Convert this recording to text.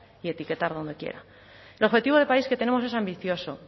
y etiquetar donde quiera el objetivo de país que tenemos es ambicioso